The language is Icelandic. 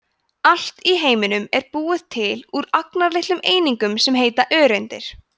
allt í heiminum er búið til úr agnarlitlum einingum sem heita öreindir